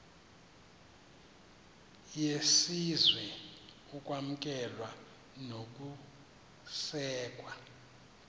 yesizwe ukwamkelwa nokusekwa